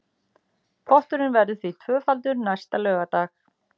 Potturinn verður því tvöfaldur næsta laugardag